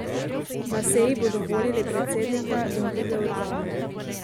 Na seji bodo volili predsednika in druge organe.